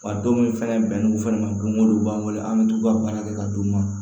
Wa don min fɛnɛ bɛn'u fɛnɛ ma don o don u b'an wele an bɛ t'u ka baara kɛ ka d'u ma